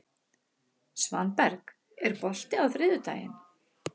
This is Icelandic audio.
Svanberg, er bolti á þriðjudaginn?